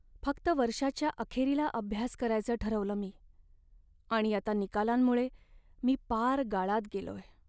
फक्त वर्षाच्या अखेरीला अभ्यास करायचं ठरवलं मी आणि आता निकालांमुळे मी पार गाळात गेलोय.